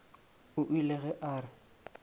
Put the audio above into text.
o ile ge a re